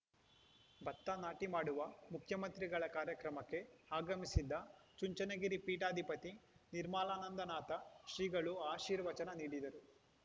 ಭತ್ತ ನಾಟಿ ಮಾಡುವ ಮುಖ್ಯಮಂತ್ರಿಗಳ ಕಾರ್ಯಕ್ರಮಕ್ಕೆ ಆಗಮಿಸಿದ್ದ ಚುಂಚನಗಿರಿ ಪೀಠಾಧಿಪತಿ ನಿರ್ಮಲಾನಂದನಾಥ ಶ್ರೀಗಳು ಆಶೀರ್ವಚನ ನೀಡಿದರು